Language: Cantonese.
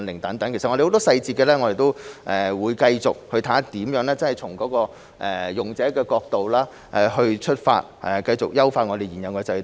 其實，我們會繼續審視細節，從用者的角度出發，繼續優化現有的制度。